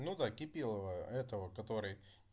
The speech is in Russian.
ну да кипелова этого который